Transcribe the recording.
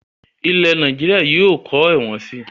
Ilẹ̀ Nàìjíríà yìí ó kọ́ ẹ̀wọ̀n sii